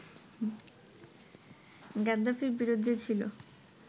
গাদ্দাফির বিরুদ্ধে ছিল